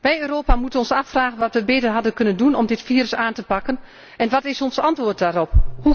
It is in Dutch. Wij in Europa moeten ons afvragen wat wij beter hadden kunnen doen om dit virus aan te pakken en wat is ons antwoord daarop?